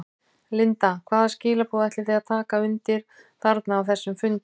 Linda: Hvaða skilaboð ætlið þið að taka undir þarna á þessum fundi?